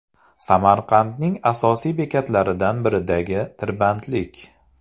Samarqandning asosiy bekatlaridan biridagi tirbandlik .